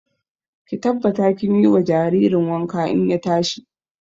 Ki tabbata kin yi wa jaririn wanka in ya tashi!